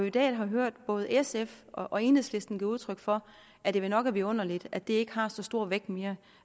i dag har hørt både sf og enhedslisten give udtryk for at det vel nok er vidunderligt at det ikke har så stor vægt mere